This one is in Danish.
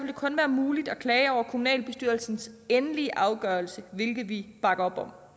det kun være muligt at klage over kommunalbestyrelsens endelige afgørelse hvilket vi bakker